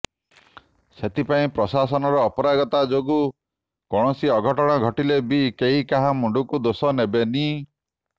ସେଥିପାଇଁ ପ୍ରଶାସନର ଅପାରଗତା ଯୋଗୁଁ କୌଣସି ଅଘଟଣ ଘଟିଲେ ବି କେହି କାହା ମୁଣ୍ଡକୁ ଦୋଷ ନେବେନି